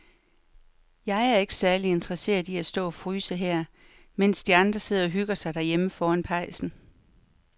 Jeg er ikke særlig interesseret i at stå og fryse her, mens de andre sidder og hygger sig derhjemme foran pejsen.